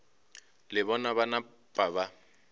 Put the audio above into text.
le bona ba napa ba